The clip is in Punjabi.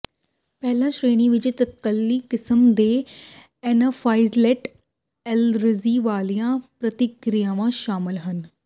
ਪਹਿਲੀ ਸ਼੍ਰੇਣੀ ਵਿੱਚ ਤਤਕਾਲੀ ਕਿਸਮ ਦੇ ਐਨਾਫਾਈਲੈਟਿਕ ਐਲਰਜੀ ਵਾਲੀਆਂ ਪ੍ਰਤੀਕ੍ਰਿਆਵਾਂ ਸ਼ਾਮਲ ਹਨ